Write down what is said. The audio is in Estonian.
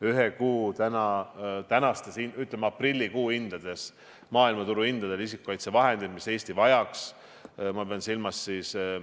Ühe kuu tänastes, ütleme, aprillikuu maailmaturu hindades läheksid isikukaitsevahendid, mis Eesti vajaks, maksma umbes 20 miljonit eurot.